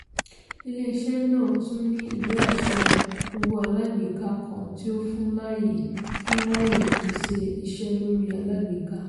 ilé-iṣẹ́ náà tún ní ìwé-àṣẹ owó alágbèká kan tí o fun láàyè fun láàyè pèsè iṣẹ́ lórí alágbèká.